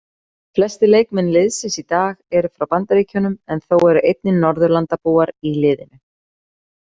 Flestir leikmenn liðsins í dag eru frá Bandaríkjunum en þó eru einnig Norðurlandabúar í liðinu.